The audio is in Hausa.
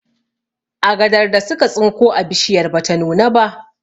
Agadar da suka tsinko a bishiyar bata nuna ba